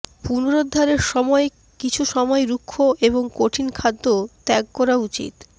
পুনরুদ্ধারের সময় কিছু সময় রুক্ষ এবং কঠিন খাদ্য ত্যাগ করা উচিত